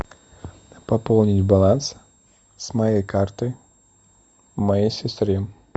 пополнить баланс с моей карты моей сестре